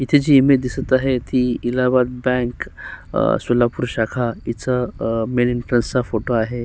इथे जी इमेज दिसत आहे ती इलाहाबाद बँक अ सोलापूर शाखा हीचा अ मेन एंट्रन्स चा फोटो आहे.